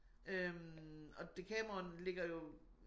Øh og Dekameron ligger jo